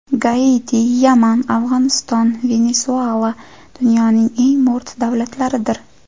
Gaiti, Yaman, Afg‘oniston, Venesuela – dunyoning eng mo‘rt davlatlaridir.